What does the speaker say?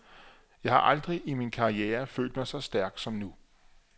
Jeg har aldrig i min karriere følt mig så stærk som nu.